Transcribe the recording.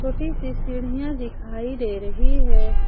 छोटी सी सीढ़ियां दिखाई दे रही है।